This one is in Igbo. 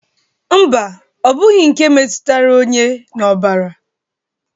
Mba, ọ bụghi nke metutara onye n'ọbara